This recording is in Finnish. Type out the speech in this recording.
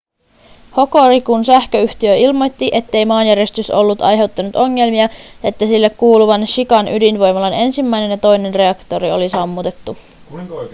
hokorikun sähköyhtiö ilmoitti ettei maanjäristys ollut aiheuttanut ongelmia ja että sille kuuluvan shikan ydinvoimalan ensimmäinen ja toinen reaktori oli sammutettu